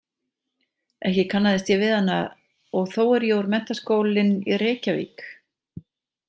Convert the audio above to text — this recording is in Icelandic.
Ekki kannaðist ég við hana og þó er ég úr Menntaskólinn í Reykjavík.